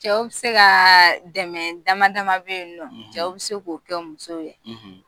Cɛw bi se ka dɛmɛ damadɔ damadɔ be yen nɔ cɛw bi se k'o kɛ musow ye